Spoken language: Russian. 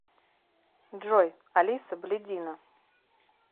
джой алиса блядина